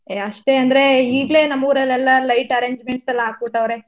ಏ ಅಷ್ಟೇ ಅಂದ್ರೆ ಈಗ್ಲೇ ನಮ್ ಊರಲೆಲ್ಲಾ lights arrangement ಎಲ್ಲಾ ಅಕ್ಬಿಟವ್ರೆ.